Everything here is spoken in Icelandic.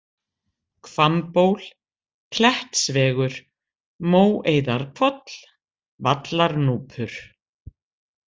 Hvammból, Klettsvegur, Móeiðarhvoll, Vallarnúpur